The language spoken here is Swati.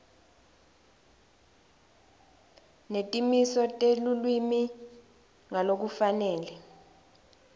netimiso telulwimi ngalokufanele